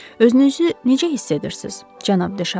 Özünüzü necə hiss edirsiz, cənab de Şarni?